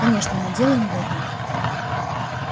конечно но дело не в этом